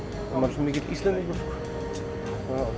svo mikill Íslendingur